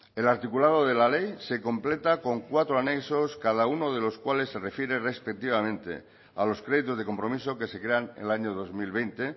el articulado de la ley se completa con cuatro anexos cada uno de los cuales se refiere respectivamente a los créditos de compromiso que se crean el año dos mil veinte